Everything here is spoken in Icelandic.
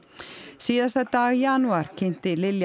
síðasta dag janúar kynnti Lilja